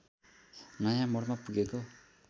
नयाँ मोडमा पुगेको